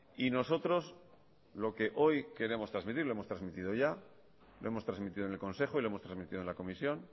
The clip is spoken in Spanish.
y nosotros lo que hoy queremos transmitir lo hemos transmitido ya lo hemos transmitido en el consejo y lo hemos transmitido en la comisión